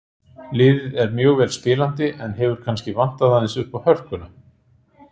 Liðið er mjög vel spilandi en hefur kannski vantað aðeins uppá hörkuna.